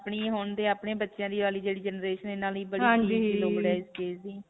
ਆਪਣੀ ਆਪਣੇ ਬੱਚਿਆਂ ਦੀ ਵਾਲੀ ਜਿਹੜੀ generation ਹੈ. ਇਨ੍ਹਾਂ ਲਈ ਬੜੀ ਚੀਜ ਦੀ ਲੋੜ ਹੈ. ਇਸ ਚੀਜ ਦੀ.